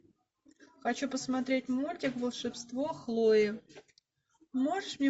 хочу посмотреть мультик волшебство хлои можешь мне